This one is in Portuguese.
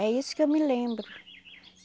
É isso que eu me lembro.